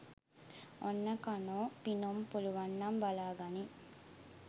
ඔන්න කනො පිනුම් පුලුවන්නම් බලාගනින්